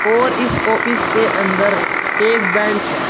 और इस ऑफिस के अंदर एक बेंच है।